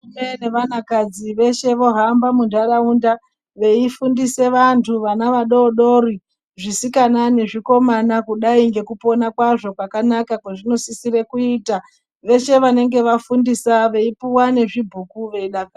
Varume nevanakadzi veshe vohamba munharaunda veifundisa vantu vana vadodori zvisikana nezvikomana kudai nge maponero kwakanaka kwaazvino kwazvinosisira kuita vese vanenge vafundiswa veyi puwa nezvibhuuku veidakara.